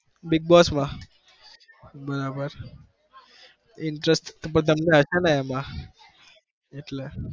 bigg boss માં બરાબર interest પણ તમને હશે ને એમાં એટલે